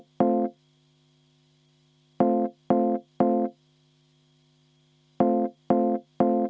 No kui teeme, siis teeme.